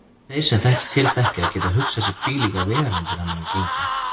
Þeir sem til þekkja geta hugsað sér hvílíkar vegalengdir hann hefur gengið.